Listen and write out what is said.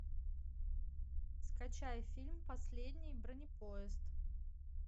скачай фильм последний бронепоезд